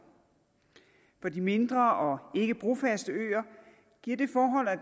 på de mindre og ikkebrofaste øer giver det forhold